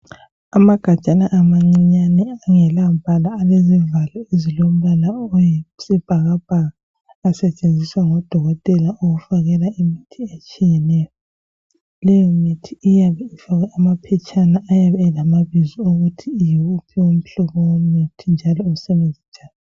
Amagajana amancinyane angelambala elezivalo ezilombala oyisibhakabhaka asetshenziswa ngodokotela ukufakela imithi etshiyeneyo. Leyo mithi iyabe ifakwe amaphetshana ayabe elamabizo okuthi yiwuphi umhlobo womuthi njalo usebenza njani.